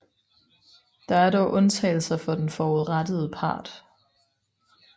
Der er dog undtagelser for den forurettede part